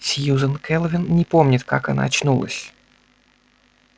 сьюзен кэлвин не помнит как она очнулась